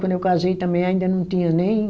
Quando eu casei também ainda não tinha nem...